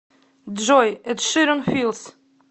джой эд ширан филс